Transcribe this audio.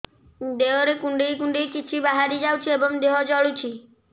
ଦେହରେ କୁଣ୍ଡେଇ କୁଣ୍ଡେଇ କିଛି ବାହାରି ଯାଉଛି ଏବଂ ଦେହ ଜଳୁଛି